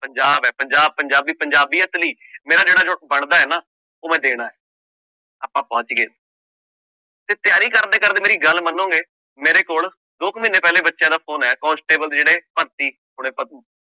ਪੰਜਾਬ ਹੈ ਪੰਜਾਬ ਪੰਜਾਬੀ ਪੰਜਾਬੀਅਤ ਲਈ ਮੇਰਾ ਜਿਹੜਾ ਬਣਦਾ ਹੈ ਨਾ ਉਹ ਮੈਂ ਦੇਣਾ ਹੈ ਆਪਾਂ ਪਹੁੰਚ ਗਏ ਤੇ ਤਿਆਰੀ ਕਰਦੇ ਕਰਦੇ ਮੇਰੀ ਗੱਲ ਮੰਨੋਗੇ ਮੇਰੇ ਕੋਲ ਦੋ ਕੁ ਮਹੀਨੇ ਪਹਿਲੇ ਬੱਚਿਆਂ ਦਾ phone ਆਇਆ ਕੋਂਸਟੇਬਲ ਦੇ ਜਿਹੜੇ ਭਰਤੀ